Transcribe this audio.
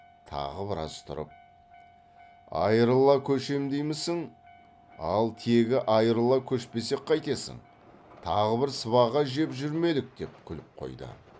тағы біраз тұрып айрыла көшем деймісің ал тегі айрыла көшпесек қайтесің тағы бір сыбаға жеп жүрмелік деп күліп қойды